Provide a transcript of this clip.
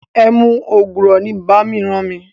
Ẹmu ògùrọ̀ ni bàámi ràn mi.